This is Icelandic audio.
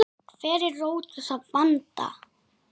Hver er rót þessa vanda?